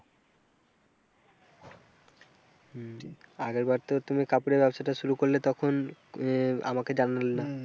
আগেরবার তো তুমি কাপড়ের ব্যবসাটা শুরু করলে তখন আহ আমাকে জানালে না।